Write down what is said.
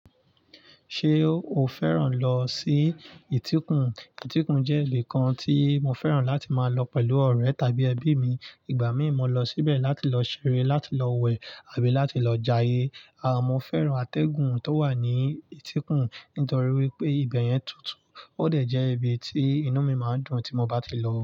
Ṣé o fẹ́ràn lọ sí ìtíkun? Ìtíkun jẹ́ ibi kan tí mo fẹ́ràn láti máa lọ pẹ̀lú ọ̀rẹ́ tàbí ẹbí mi. Ìgbà míì mo lọ síbẹ̀ láti lọ ṣeré, láti lọ wẹ̀ àbí láti lọ jayé. À mọ́ fẹ́ràn atẹ́gùn tó wà ní ìtíkun nítorí wípé ibẹ̀ yẹn tútù, ó dẹ̀ jẹ́ ibi tí inú mi máa dùn tí mo bá ti lọ.